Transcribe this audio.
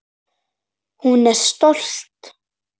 Hún er stolt.